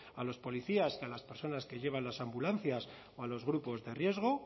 a los policías que a las personas que llevan las ambulancias o a los grupos de riesgo